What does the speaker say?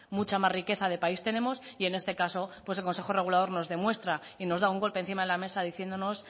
mucha más riqueza de país tenemos y en este caso pues el consejo regulador nos demuestra y nos da un golpe encima de la mesa diciéndonos